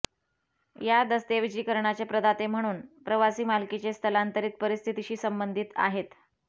या दस्तऐवजीकरणाचे प्रदाते म्हणून प्रवासी मालकीचे स्थलांतरित परिस्थितीशी संबंधित आहेत